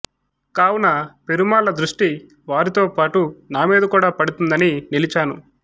కావున పెరుమాళ్ల దృష్టి వారితోపాటు నామీద కూడ పడుతుందని నిలచాను